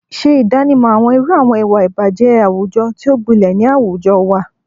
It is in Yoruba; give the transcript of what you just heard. Ṣe ìdánimọ̀ àwọn irú àwọn ìwà ìbàjẹ́ àwùjọ tí ó gbilẹ̀ ni àwùjọ wa,